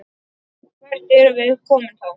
Hvert erum við komin þá?